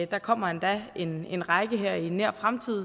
der kommer endda en en række her i nær fremtid